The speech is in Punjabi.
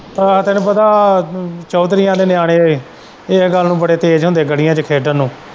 ਆਹੋ ਤੈਨੂੰ ਪਤਾ ਚੋਧਰੀਆਂ ਦੇ ਨਿਆਣੇ ਇਹ ਗੱਲ ਨੂੰ ਬੜੇ ਤੇਜ਼ ਹੁੰਦੇ ਗਲ਼ੀਆਂ ਚ ਖੇਡਣ ਨੂੰ।